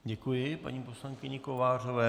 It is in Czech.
Děkuji paní poslankyni Kovářové.